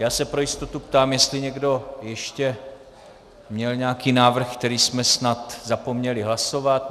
Já se pro jistotu ptám, jestli někdo ještě měl nějaký návrh, který jsme snad zapomněli hlasovat.